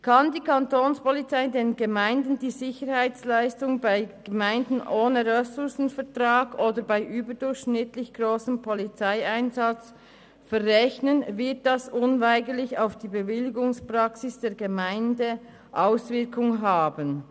Kann die Kantonspolizei (Kapo) den Gemeinden einen überdurchschnittlich grossen Polizeieinsatz verrechnen, wird sich dies bei Gemeinden ohne Ressourcenvertrag unweigerlich auf ihre Bewilligungspraxis auswirken.